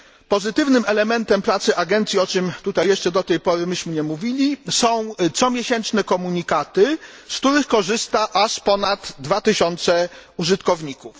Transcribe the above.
Pozytywnym elementem pracy agencji, o czym tutaj jeszcze do tej pory nie mówiliśmy, są comiesięczne komunikaty, z których korzysta aż ponad 2 tysiące użytkowników.